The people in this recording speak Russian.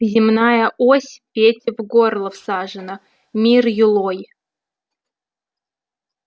земная ось пете в горло всажена мир юлой